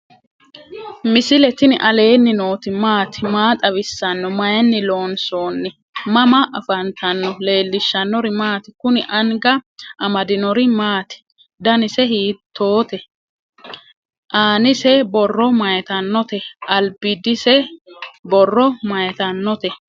misile tini alenni nooti maati? maa xawissanno? Maayinni loonisoonni? mama affanttanno? leelishanori maati? kuuni anga amadinori maati? danse hitote? annise borro mayitanote? albidise borro mayitanote?